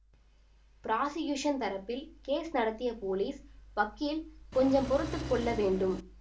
prosecution தரப்பில் case நடத்திய police வக்கீல் கொஞ்சம் பொறுத்து கொள்ள வேண்டும்